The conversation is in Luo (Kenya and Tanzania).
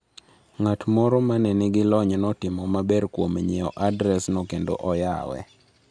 Ng’at moro ma ne nigi lony notimo maber kuom nyiewo adresno kendo oyawe.